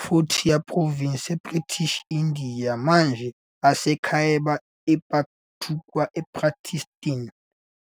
Frontier Province eBritish India, manje eseKhyber Pakhtunkhwa, ePakistan.